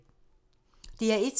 DR1